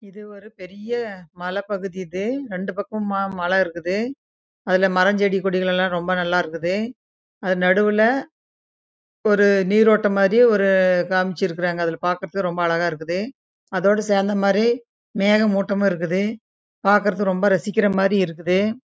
இது ஒரு பெரிய மலை பகுதி இது இங்க செடி கொடி லாம் இருக்குது ரெண்டு பக்கம் ஆஹ் மாலா இருக்குது அதுலே மரம் செடி கொடி லாம் நல்ல இருக்குது ரொம்ப நல்லா இருக்குது அதுலே நாடுளே நீர் ஓட்டம் மேரி கம்சிறுக்கங்க அதோட சேர்ந்து மேக மூட்டம் மாரி இருக்குது